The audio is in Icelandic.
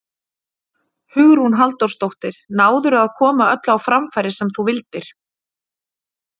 Hugrún Halldórsdóttir: Náðirðu að koma öllu á framfæri sem þú vildir?